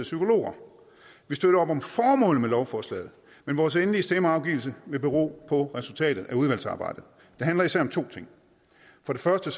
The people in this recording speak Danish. psykologer vi støtter op om formålet med lovforslaget men vores endelige stemmeafgivelse vil bero på resultatet af udvalgsarbejdet det handler især om to ting for det første